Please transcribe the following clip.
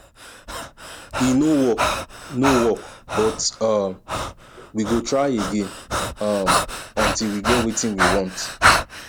e no work no work but um we go try again um until we get wetin we want